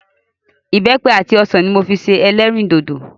Ìbẹ́pẹ àti ọsàn ni mo fi ṣe ẹlẹ́rìndòdò.